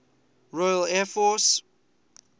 royal air force